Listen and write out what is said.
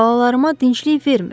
Xalalarıma dinclik vermir.